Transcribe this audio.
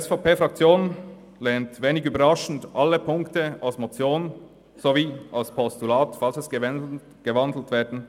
Die SVP-Fraktion lehnt wenig überraschend alle Ziffern als Motion sowie als Postulat ab, sollte die Motion gewandelt werden.